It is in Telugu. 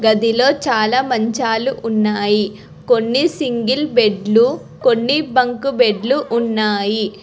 గదిలో చాలా మంచాలు ఉన్నాయి కొన్ని సింగిల్ బెడ్లు కొన్ని బంకు బెడ్లు ఉన్నాయి